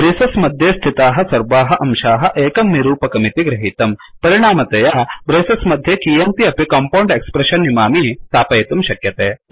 ब्रेसस् मध्ये स्थिताः सर्वाः अंशाः एकं निरूपकमिति गृहीतम् परिणामतया ब्रेसस् मध्ये कीयन्ति अपि कम्पैल्ड् एक्स्प्रेश्शन् इमानि स्थापयितुं शक्यते